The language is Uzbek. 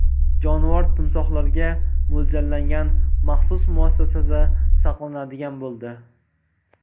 Jonivor timsohlarga mo‘ljallangan maxsus muassasada saqlanadigan bo‘ldi.